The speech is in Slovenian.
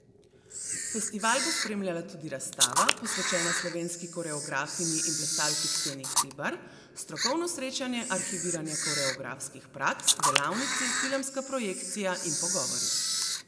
Festival bo spremljala tudi razstava, posvečena slovenski koreografinji in plesalki Ksenji Hribar, strokovno srečanje Arhiviranje koreografskih praks, delavnici, filmska projekcija in pogovori.